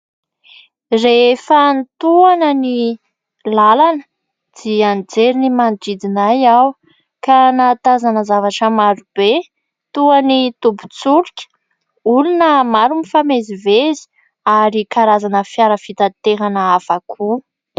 Rehefa nitohana ny lalana dia nijery ny manodidina ahy aho, ka nahatazana zavatra marobe toin'ny tobin-tsolika, olona maro mifamezivezy, ary karazana fiara fitatehana afakoa.